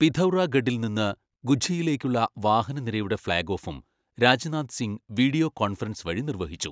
പിഥൗറാഗഢിൽ നിന്ന് ഗുഞ്ജിയിലേയ്ക്കുള്ള വാഹനനിരയുടെ ഫ്ലാഗ് ഓഫും Rajnath Singh video conference വഴി നിർവഹിച്ചു.